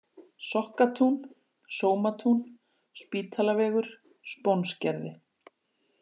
Sokkatún, Sómatún, Spítalavegur, Spónsgerði